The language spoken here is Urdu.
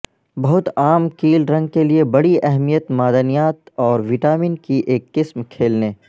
بہت عام کیل رنگ کے لئے بڑی اہمیت معدنیات اور وٹامن کی ایک قسم کھیلنے